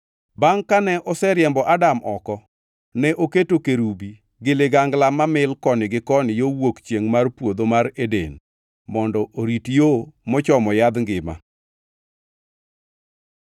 Bangʼ kane oseriembo Adam oko, ne oketo kerubi gi ligangla mamil koni gi koni yo wuok chiengʼ mar Puodho Mar Eden mondo orit yo mochomo yadh ngima.